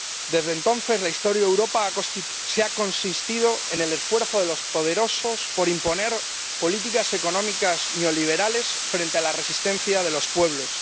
Desde entonces, la historia de Europa ha consistido en el esfuerzo de los poderosos por imponer políticas económicas neoliberales frente a la resistencia de los pueblos.